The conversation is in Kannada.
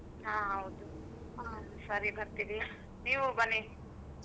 ಹಾ ಹೌದು ಹಾ ಸರಿ ಬರ್ತಿವಿ ನೀವು ಬನ್ನಿ.